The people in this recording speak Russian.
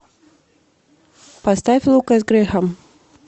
поставь лукас грэхам